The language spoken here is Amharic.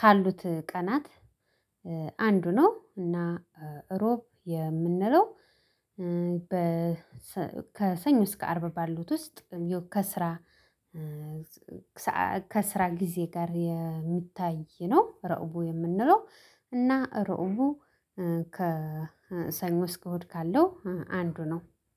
ካሉት ቀናት አንዱ ነው። እና እሮብ የምንለው በ ከሰኞ እስከ አርብ ባሉት ውስጥ ከስራ ከስራ ጊዜ ጋር የሚታይ ነው። ረቡዕ የምንለው እና ረቡዐ ከሰኞ እስከ እሁድ ካለው አንዱ ነው